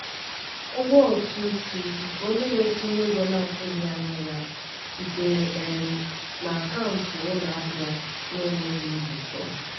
ụgwọ ụtụ isi nke onye na-etinye ego na-atụghị anya ya sitere um na akaụntụ ụlọ ahịa na-enweghị njikọ.